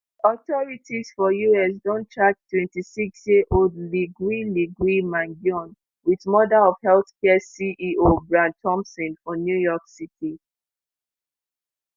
authorities for us don charge twenty-six year old luigi luigi mangione wit murder of healthcare ceo brian thompson for new york city